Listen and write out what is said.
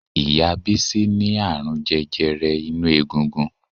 Ìyá Bísí ní àrùn jẹjẹrẹ inú egungun